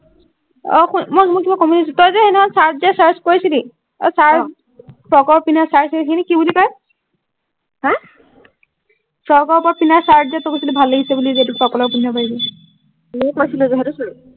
অ শুন মই মই কিবা কম বুলি ভাবিছিলো তই যে চাৰট যে choice কৰিছিলি অ অ চাৰট ফ্ৰকৰ পিন্ধা চাৰট এই খিনিক কি বুলি কয় হা ফ্ৰকৰ ওপৰত পিন্ধা যে চাৰট তই কৈছিলি যে ভাল লাগিছে বুলি এইটো ফ্ৰকৰ ওপৰত পন্ধিব পাৰিবি